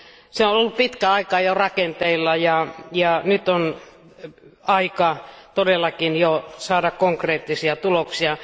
Se on ollut pitkän aikaa jo rakenteilla, ja nyt on aika todellakin jo saada konkreettisia tuloksia.